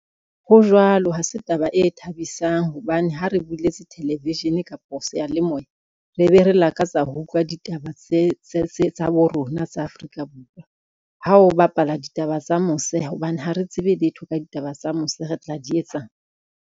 Ho jwalo, ha se taba e thabisang hobane ha re buletse television kapo seyalemoya re be re lakatsa ho utlwa ditaba tsa bo rona tsa Afrika Borwa. Ha o bapala ditaba tsa mose hobane ha re tsebe letho ka ditaba tsa mose, re tla di etsang.